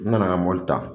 N nana mɔbili ta